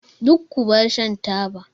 Duk ku bar shan taba!